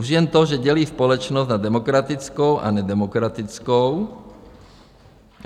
Už jen to, že dělí společnost na demokratickou a nedemokratickou.